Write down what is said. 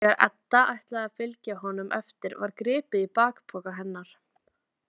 Þegar Edda ætlaði að fylgja honum eftir var gripið í bakpoka hennar.